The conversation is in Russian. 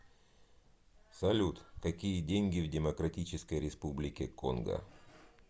салют какие деньги в демократической республике конго